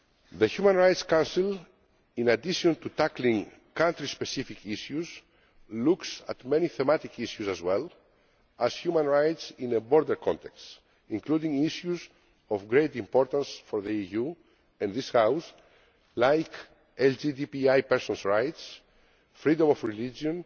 The Human Rights Council, in addition to tackling country specific issues, looks at many thematic issues, as well as human rights in the broader context, including issues of great importance for the EU and this House such as LGTBI persons' rights, freedom of religion,